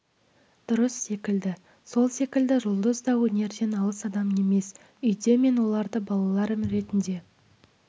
дұрыс секілді сол секілді жұлдыз да өнерден алыс адам емес үйде мен оларды балаларым ретінде